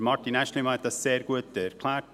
Martin Aeschlimann hat dies sehr gut erklärt;